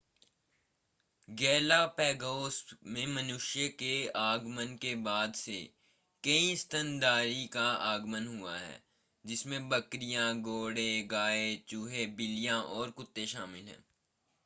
Galapagos में मनुष्य के आगमन के बाद से कई स्तनधारी का आगमन हुआ है जिसमें बकरियां घोड़े गाय चूहे बिल्लियां और कुत्ते शामिल हैं